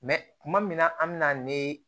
Mɛ tuma min na an bɛna ne